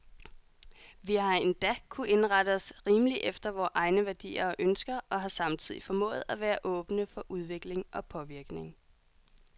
Vi har endda kunnet indrette os rimeligt efter vore egne værdier og ønsker, og har samtidig formået at være åbne for udvikling og påvirkning.